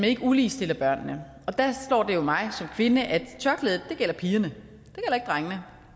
ikke uligestiller børnene og der slår det jo mig som kvinde at tørklædet gælder pigerne